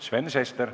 Sven Sester.